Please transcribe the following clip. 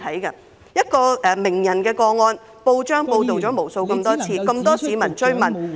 就一位名人的個案，報章報道了無數次，亦有很多市民追問......